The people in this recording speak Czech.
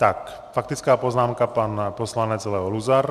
Tak faktická poznámka pan poslanec Leo Luzar.